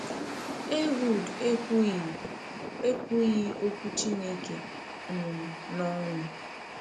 Ehud ekwughị ekwughị okwu Chineke um n’ọnụ.